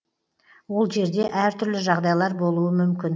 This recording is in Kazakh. ол жерде әртүрлі жағдайлар болуы мүмкін